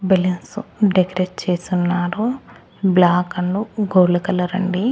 Balloons decorate చేసున్నారు black and gold colour అండి.